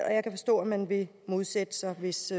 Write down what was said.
og at man vil modsætte sig det hvis